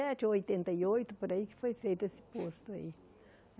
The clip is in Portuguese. ou oitenta e oito, por aí, que foi feito esse posto aí.